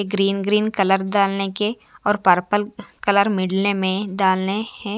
Green green colour डालने के और पर्पल कलर मिलने में डालने हैं।